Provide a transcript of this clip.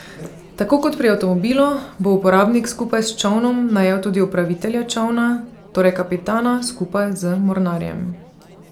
Tako kot pri avtomobilu bo uporabnik skupaj s čolnom najel tudi upravitelja čolna, torej kapitana skupaj z mornarjem.